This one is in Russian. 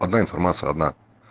одна информация одна